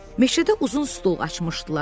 Meşədə uzun stol açmışdılar.